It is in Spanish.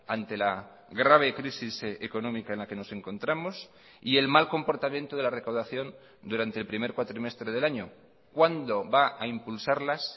ante la grave crisis económica en la que nos encontramos y el mal comportamiento de la recaudación durante el primer cuatrimestre del año cuándo va a impulsarlas